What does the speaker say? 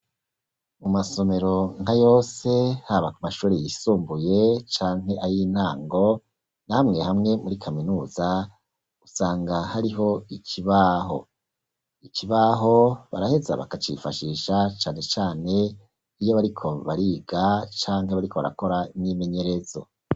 Mu masomero nka yose, haba mu mashuri yisumbuye canke ayintango na hamwe hamwe muri kaminuza usanga hariho ikibaho, ikibaho baraheza bakashifashisha canecane iyo bariko bariga canke bariko barakora imyimenyerezo.